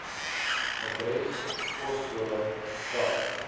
adres poskode tel